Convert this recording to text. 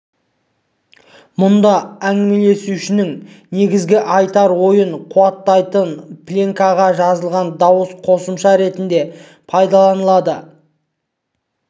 мұнда әңгімелесушінің негізгі айтар ойын қуаттайтын пленкаға жазылған дауыс қосымша ретінде пайдаланылады